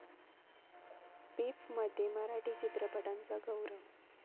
पिफ'मध्ये मराठी चित्रपटांचा गौरव